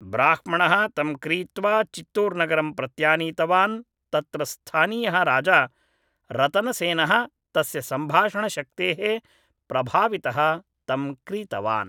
ब्राह्मणः तं क्रीत्वा चितूर् नगरं प्रत्यानीतवान् तत्र स्थानीयः राजा रतनसेनः तस्य सम्भाषणशक्तेः प्रभावितः तं क्रीतवान्